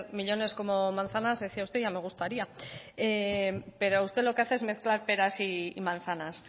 millónes como manzanas decía usted ya me gustaría pero usted lo que hace es mezclar peras y manzanas